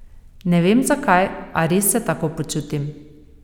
Ne vem zakaj, a res se tako počutim.